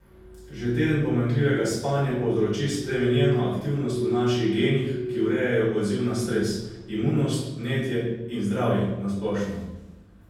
Že teden pomanjkljivega spanja povzroči spremenjeno aktivnost v naših genih, ki urejajo odziv na stres, imunost, vnetje in zdravje na splošno!